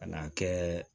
Ka n'a kɛ